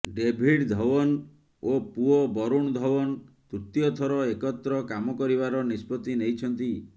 David Dhawan ଓ ପୁଅ ବରୁଣ ଧୱନ୍ ତୃତୀୟ ଥର ଏକତ୍ର କାମ କରିବାର ନିଷ୍ପତ୍ତି ନେଇଛନ୍ତି